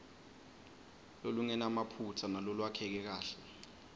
lolungenamaphutsa nalolwakheke kahle